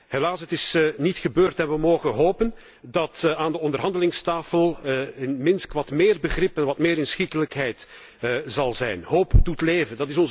Helaas, het is niet gebeurd en we mogen hopen dat aan de onderhandelingstafel in Minsk wat meer begrip en wat meer inschikkelijkheid zal zijn. Hoop doet leven.